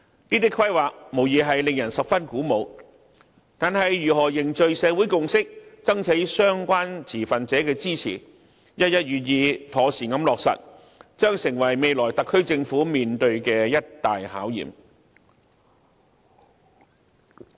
這些規劃無疑令人十分鼓舞，但如何凝聚社會共識，爭取相關持份者的支持，一一予以妥善落實，將成為未來特區政府所要面對的一大考驗。